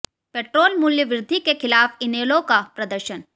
petrol मूल्य वृद्धि के खिलाफ इनेलो का प्रदर्शन